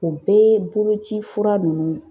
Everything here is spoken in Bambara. O bɛɛ ye boloci fura nunnu